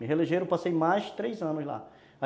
Me reelegeram, passei mais três anos lá.